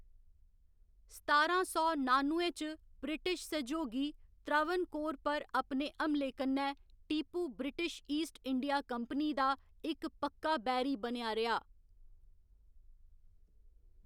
सतारां सौ नानुए च ब्रिटिश सैह्‌योगी त्रावणकोर पर अपने हमले कन्नै Tipu British East India company दा इक पक्का बैरी बनेआ रेहा।